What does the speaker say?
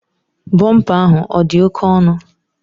Bumper ahụ odi oke onụ?